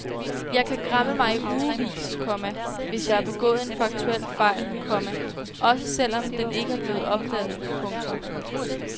Jeg kan græmme mig i ugevis, komma hvis jeg har begået en faktuel fejl, komma også selv om den ikke er blevet opdaget. punktum